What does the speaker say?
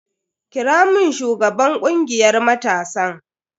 Kira mun shugaban kungiyar matasan.